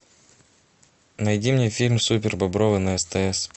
найди мне фильм супер бобровы на стс